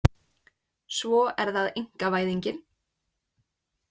Svo er það einkavæðingin.